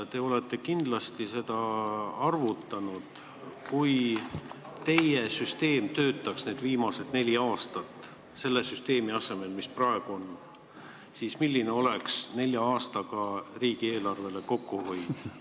Te olete kindlasti arvutanud, et kui teie süsteem oleks viimased neli aastat praeguse asemel jõus olnud, siis kui suur summa oleks nelja aastaga riigieelarves kokku hoitud.